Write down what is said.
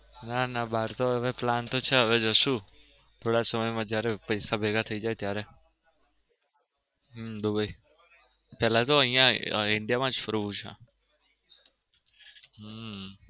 નાના બાર તો હવે plan તો છે હવે જસુ થોડા સમય માં જયારે પૈસા ભેગા થઈ જાય ત્યારે હમ દુબઇ પેલા તો અહીંયા અ india માં જ ફરવું છે.